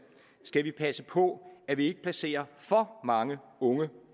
skal vi passe på at vi ikke placerer for mange unge